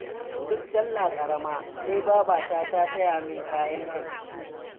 Duk sallah karama sai babata ta saya min kaya 'yan kanti